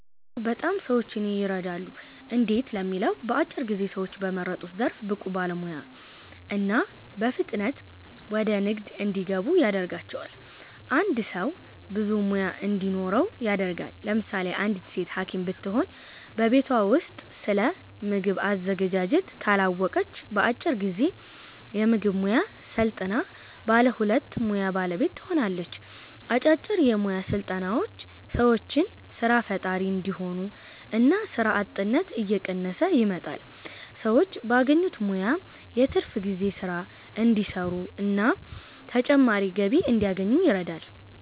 አዎ! በጣም ሰዎችን የረዳሉ። እንዴት ለሚለው በአጭር ጊዜ ሰዎችን በመረጡት ዘርፍ ብቁ ባለሙያ እና በፍጥነት ወደ ንግድ እንዲገቡ ያደርጋቸዋል። አንድ ሰው ብዙ ሙያ እንዲኖረው ያደርጋል። ለምሳሌ አንዲት ሴት ሀኪም ብትሆን በቤቷ ውስጥ ስለምግብ አዘገጃጀት ካላወቀች በአጭር ጊዜ የምግብ ሙያ ሰልጥና ባለ ሁለቱ ሙያ ባለቤት ትሆናለች። አጫጭር የሞያ ስልጠናዎች ሰዎችን ሰራ ፈጣሪ እንዲሆኑ እና ስራ አጥነት እየቀነሰ ይመጣል። ሰዎች ባገኙት ሙያ የትርፍ ጊዜ ስራ እንዲሰሩና ተጨማሪ ገቢ እንዲያገኙ ይረዳል።